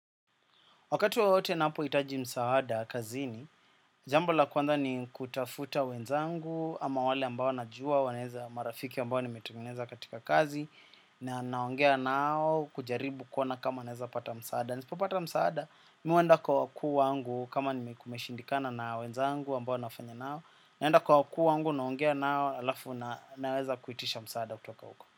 Wakati wowote napo hitaji msaada kazini, jambo la kwanza ni kutafuta wenzangu ama wale ambao najua, wanaeza marafiki ambao nimetengeneza katika kazi, na naongea nao kujaribu kuona kama naweza pata msaada. Nisipo pata msaada, mimi huenda kwa wakuu wangu kama nime kumeshindikana na wenzangu ambao nafanya nao, naenda kwa wakuu wangu naongea nao alafu naweza kuitisha msaada kutoka huko.